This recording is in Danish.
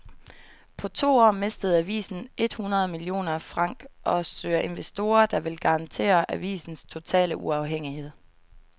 På to år mistede avisen et hundrede millioner franc og søger investorer, der vil garantere avisens totale uafhængighed.